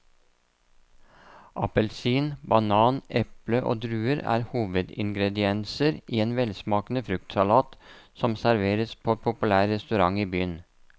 Appelsin, banan, eple og druer er hovedingredienser i en velsmakende fruktsalat som serveres på en populær restaurant i byen.